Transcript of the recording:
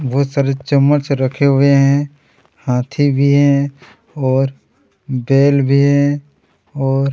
बहुत चम्मच रखे हुए है हाथी भी है और बैल भी है और--